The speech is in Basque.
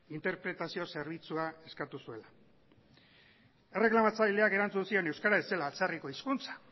interpretazio zerbitzua eskatu zuela erreklamatzaileak erantzun zion euskara ez zela atzerriko hizkuntza